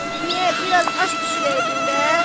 Niyə, biraz aş bişirəydin də?"